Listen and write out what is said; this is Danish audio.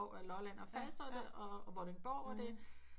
Lolland og Falster og det og Vordingborg og det